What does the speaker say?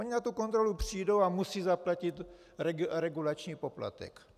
Oni na tu kontrolu přijdou a musí zaplatit regulační poplatek.